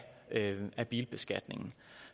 lave den af bilbeskatningen